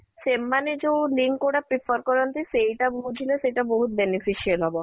ସେମାନେ ଯୋଉ link ଗୁଡାକ prefer କରନ୍ତି ସେଇଟା କୁ ବୁଝିଲେ ସେଇଟା ବହୁତ beneficial ହବ